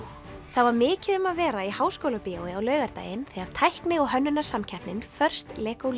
það var mikið um að vera í Háskólabíói á laugardaginn þegar tækni og hönnunarsamkeppnin First Lego